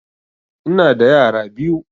Ina da yara biyu